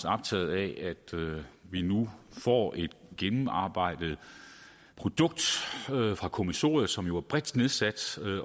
optaget af at vi nu får et gennemarbejdet produkt fra kommissionen som jo er bredt nedsat